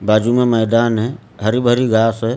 बाजु में मैदान है हरी भरी घास है।